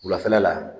Wulafɛla la